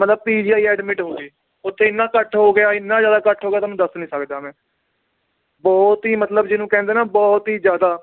ਮਤਲਬ PGI admit ਹੋ ਗਏ, ਓਥੇ ਇੰਨਾ ਇਕੱਠ ਹੋ ਗਿਆ ਇੰਨਾ ਜ਼ਿਆਦਾ ਇਕੱਠ ਹੋ ਗਿਆ ਤੁਹਾਨੂੰ ਦੱਸ ਨੀ ਸਕਦਾ ਮੈ ਬਹੁਤ ਹੀ ਮਤਲਬ ਜਿਹਨੂੰ ਕਹਿੰਦੇ ਨਾ ਬਹੁਤ ਹੀ ਜ਼ਿਆਦਾ